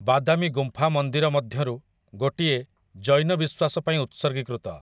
ବାଦାମି ଗୁମ୍ଫା ମନ୍ଦିର ମଧ୍ୟରୁ ଗୋଟିଏ ଜୈନ ବିଶ୍ୱାସ ପାଇଁ ଉତ୍ସର୍ଗୀକୃତ ।